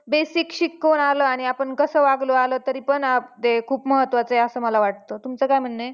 "basic शिकून आलो आणि आपण कसं वागलो आलो तरीकेपण ते खूप महत्त्वाचं आहे असं मला वाटत तुमचं काय म्हणनं आहे? "